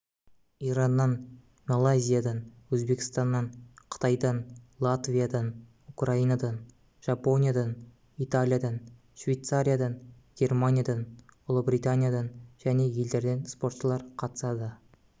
ираннан малайзиядан өзбекстаннан қытайдан латвиядан украинадан жапониядан италиядан швейцариядан германиядан ұлыбританиядан және елдерден спортшылар қатысады